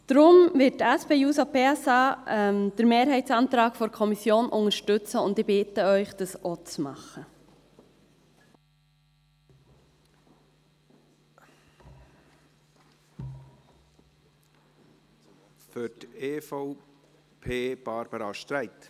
Deshalb wird die SP-JUSO-PSA den Mehrheitsantrag der Kommission unterstützen, und ich bitte Sie, dies auch zu tun.